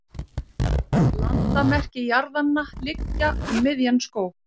landamerki jarðanna liggja um miðjan skóg